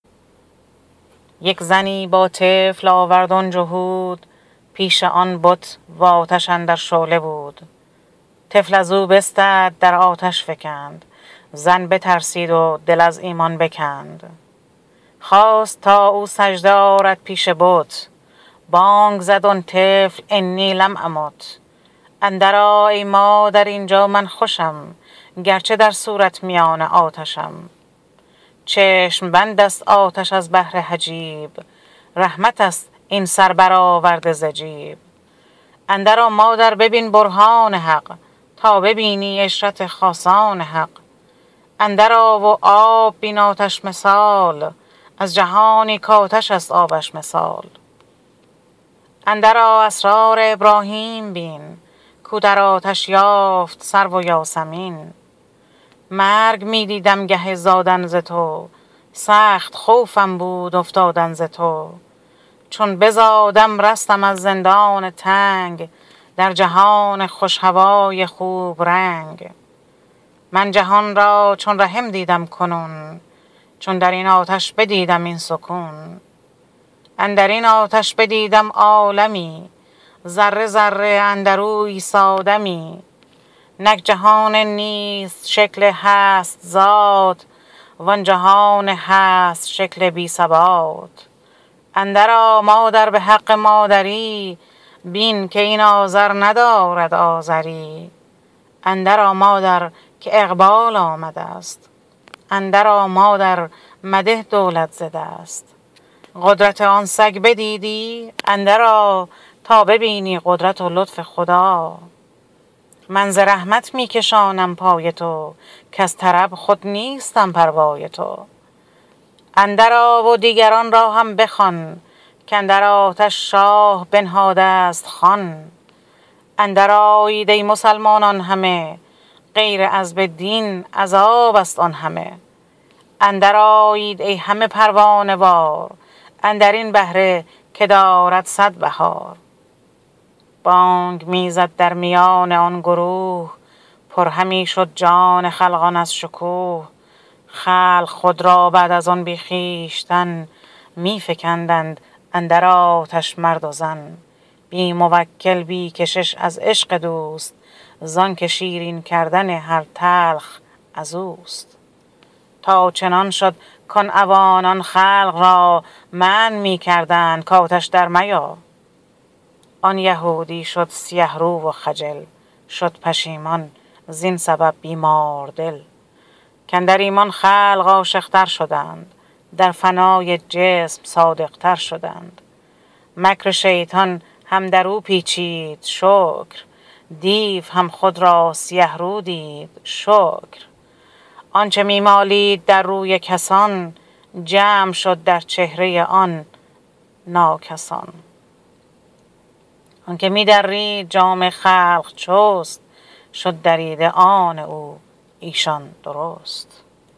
یک زنی با طفل آورد آن جهود پیش آن بت آتش اندر شعله بود طفل ازو بستد در آتش در فکند زن بترسید و دل از ایمان بکند خواست تا او سجده آرد پیش بت بانگ زد آن طفل إني لم أمت اندر آ ای مادر اینجا من خوشم گرچه در صورت میان آتشم چشم بندست آتش از بهر حجاب رحمتست این سر برآورده ز جیب اندر آ مادر ببین برهان حق تا ببینی عشرت خاصان حق اندر آ و آب بین آتش مثال از جهانی کآتش است آبش مثال اندر آ اسرار ابراهیم بین کو در آتش یافت سرو و یاسمین مرگ می دیدم گه زادن ز تو سخت خوفم بود افتادن ز تو چون بزادم رستم از زندان تنگ در جهان خوش هوای خوب رنگ من جهان را چون رحم دیدم کنون چون درین آتش بدیدم این سکون اندرین آتش بدیدم عالمی ذره ذره اندرو عیسی دمی نک جهان نیست شکل هست ذات و آن جهان هست شکل بی ثبات اندر آ مادر بحق مادری بین که این آذر ندارد آذری اندر آ مادر که اقبال آمدست اندر آ مادر مده دولت ز دست قدرت آن سگ بدیدی اندر آ تا ببینی قدرت و لطف خدا من ز رحمت می کشانم پای تو کز طرب خود نیستم پروای تو اندر آ و دیگران را هم بخوان کاندر آتش شاه بنهادست خوان اندر آیید ای مسلمانان همه غیر عذب دین عذابست آن همه اندر آیید ای همه پروانه وار اندرین بهره که دارد صد بهار بانگ می زد درمیان آن گروه پر همی شد جان خلقان از شکوه خلق خود را بعد از آن بی خویشتن می فکندند اندر آتش مرد و زن بی موکل بی کشش از عشق دوست زانک شیرین کردن هر تلخ ازوست تا چنان شد کان عوانان خلق را منع می کردند کآتش در میا آن یهودی شد سیه رو و خجل شد پشیمان زین سبب بیماردل کاندر ایمان خلق عاشق تر شدند در فنای جسم صادق تر شدند مکر شیطان هم درو پیچید شکر دیو هم خود را سیه رو دید شکر آنچ می مالید در روی کسان جمع شد در چهره آن ناکس آن آنک می درید جامه خلق چست شد دریده آن او ایشان درست